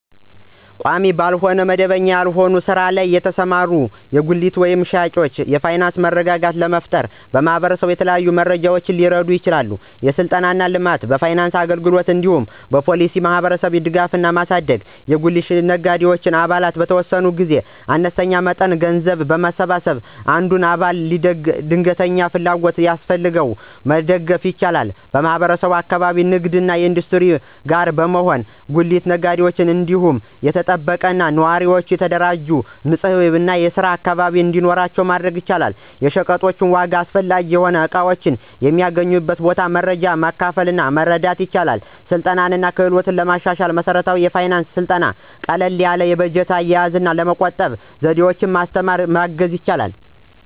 በቋሚ ወይም መደበኛ ያልሆነ ሥራ ላይ ላሉ ሰዎች (ለምሳሌ በጉሊት ገበያ ሻጮች) የፋይናንስ መረጋጋት ለመፍጠር ማህበረሰቡ በተለያዩ ደረጃዎች ሊረዳ ይችላል። የሥልጠና እና ልማት፣ በፋይናንስ አገልግሎት እንዲሁም በፖሊሲ እና በማህበረሰብ ደጋፊነትን ማሳደግ። የጉሊት ነጋዴዎች አባላት በተወሰነ ጊዜ አነስተኛ መጠን ገንዘብ በማሰባሰብ አንዱን አባል ድንገተኛ ፍላጎት ሲያስፈልገው መደገፍ ይችላሉ። ማህበረሰቡ ከአካባቢው ንግድ እና ኢንዱስትሪ ጋር በመሆን ለጉሊት ነጋዴዎች ደህንነቱ የተጠበቀ፣ ጥሩ የተደራጀ እና ንጹህ የሆነ የስራ አካባቢ እንዲኖራቸው ማድረግ ይችላል። የሸቀጦች ዋጋ፣ አስፈላጊ የሆኑ እቃዎች የሚገኙበት ቦታ መረጃ በማካፈል መርዳት ይችላል። ስልጠና እና ክህሎትን ለማሻሻል መሠረታዊ የፋይናንስ ሥልጠና ቀላል የበጀት አያያዝ፣ ለመቆጠብ ዘዴዎችን በማስተማር ማገዝ ይችላል።